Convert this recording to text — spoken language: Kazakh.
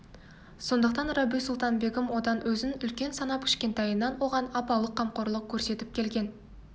сондықтан рабиу-сұлтан-бегім одан өзін үлкен санап кішкентайынан оған апалық қамқорлық көрсетіп келген